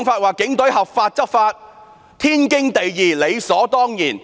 她指警隊合法執法，天經地義，理所當然。